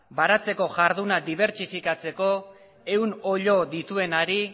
baratzeko jarduna dibertsifikatzeko ehun oilo dituenari